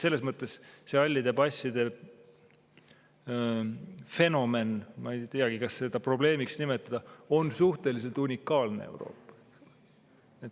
Selles mõttes see hallide passide fenomen – ma ei tea, kas seda peaks probleemiks nimetama – on suhteliselt unikaalne.